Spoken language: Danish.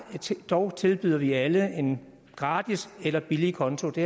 dog tilbyder vi alle en gratis eller billig konto det